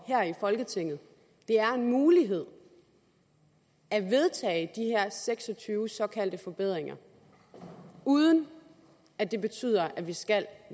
her i folketinget det er en mulighed at vedtage de her seks og tyve såkaldte forbedringer uden at det betyder at vi skal